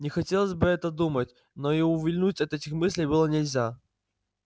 не хотелось об этом думать но и увильнуть от этих мыслей было нельзя